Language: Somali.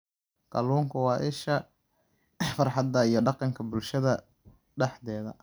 Kalluunku waa isha farxadda iyo dhaqanka bulshada dhexdeeda.